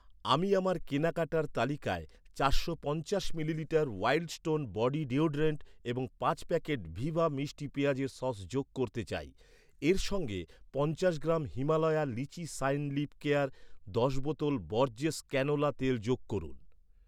আমি আমার কেনাকাটার তালিকায় চারশো পঞ্চাশ millilitre Wild Stone body deodorant এবং পাঁচ প্যাকেট ভিবা মিষ্টি পেঁয়াজের সস যোগ করতে চাই। এর সঙ্গে পঞ্চাশ gram Himalaya lychee shine lip care, দশ বোতল বরজেস ক্যানোলা তেল যোগ করুন।